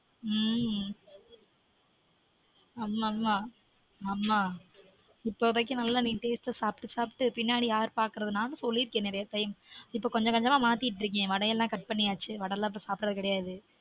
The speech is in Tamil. உம் ஆமா ஆமா மா இப்பதைக்கு நல்ல taste taste சாப்ட்டு சாப்ட்டு பின்னாடி யார் பாக்குறது நானும் சொல்லிருக்கேன் நெறய time இப்ப கொஞ்சம் கொஞ்சமா மாத்திட்டுருக்கன் இப்ப வடையெல்லாம் cut பண்ணியாச்சு வடை எல்லான் சாப்டுறது கிடையாது